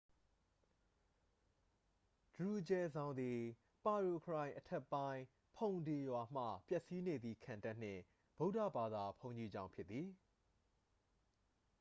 ဒရူဂျယ်ဇောင်သည် ပါရိုခရိုင်အထက်ပိုင်း ဖုန်ဒေရွာမှ ပျက်စီးနေသော ခံတပ်နှင့် ဗုဒ္ဓဘာသာ ဘုန်းကြီးကျောင်းဖြစ်သည်။